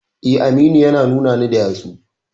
Eh, Aminu yana nuna ni da yatsu.